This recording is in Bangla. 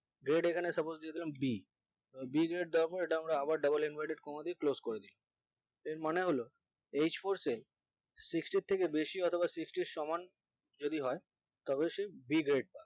grade এখানে suppose দিয়ে দেবেন এখানে b b দিয়ে double আবার double inverted comma এর মধ্যে দিয়ে close করে দিই এর মানে হলো h four cell sixty থেকে বেশি অথবা sexty এর সমান যদি হয় তবে সে b grade পাবে